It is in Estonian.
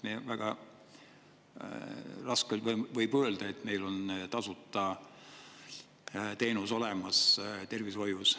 Väga raske võib olla öelda, et meil on tasuta tervishoiuteenused olemas.